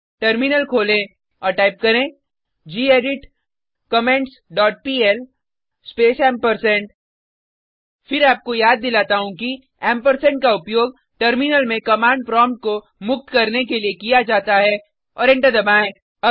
terminal खोलें और type करें gedit comments dot pl space फिर आपको याद दिलाता हूँ कि एम्परसैंड का उपयोग टर्मिनल में कमांड प्रोम्प्ट को मुक्त करने के लिए किया जाता है और एंटर दबाएँ